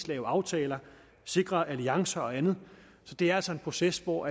lave aftaler sikre alliancer og andet så det er altså en proces hvor